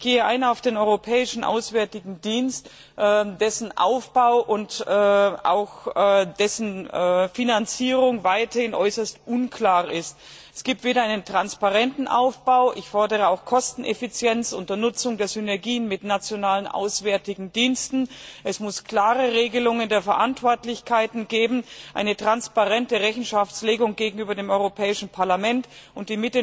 Ich gehe ein auf den Europäischen Auswärtigen Dienst, dessen Aufbau und auch Finanzierung weiterhin äußerst unklar ist. Es gibt keinen transparenten Aufbau ich fordere auch Kosteneffizienz unter Nutzung der Synergien mit nationalen auswärtigen Diensten, es muss klare Regelungen der Verantwortlichkeiten geben, eine transparente Rechenschaftslegung gegenüber dem Europäischen Parlament, und